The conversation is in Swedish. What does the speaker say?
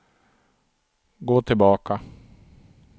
gå tillbaka